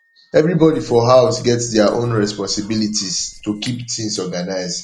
everybody for house get their own responsibilities to keep things organized